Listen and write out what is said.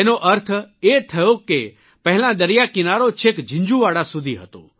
એનો અર્થ એ થયો કે પહેલાં દરિયાકિનારો છેક ઝીંઝુવાડા સુધી હતો